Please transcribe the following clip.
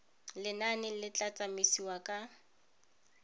lenane le tla tsamaisiwang ka